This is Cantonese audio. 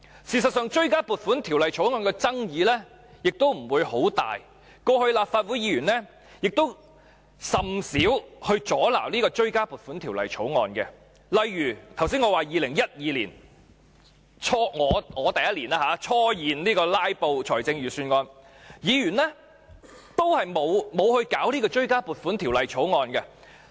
事實上，追加撥款條例草案的爭議不會很大，過去立法會議員亦甚少阻撓追加撥款條例草案，例如我剛才說的2012年，我首年就財政預算案進行"拉布"，議員也沒有阻撓追加撥款條例草案。